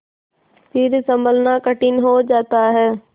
फिर सँभलना कठिन हो जाता है